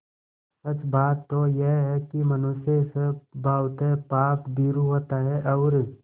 सच बात तो यह है कि मनुष्य स्वभावतः पापभीरु होता है और